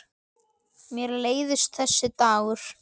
Mér leiðist þessi dagur.